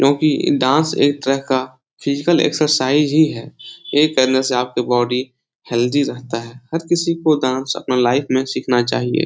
क्यूंकि डांस एक तरह का फिजिकल एक्सरसाइज ही है । एक का बॉडी हैल्दी रहता है । हर किसी को डांस अपनी लाइफ में सिखाना चाइये ।